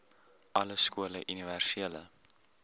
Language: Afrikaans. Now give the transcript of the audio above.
alle skole universele